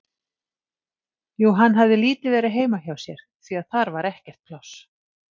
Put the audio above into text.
Jú, hann hafði lítið verið heima hjá sér, því að þar var ekkert pláss.